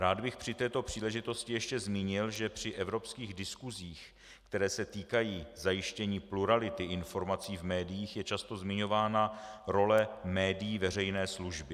Rád bych při této příležitosti ještě zmínil, že při evropských diskusích, které se týkají zajištění plurality informací v médiích, je často zmiňována role médií veřejné služby.